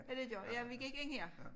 Ja det gjorde ja vi gik ind her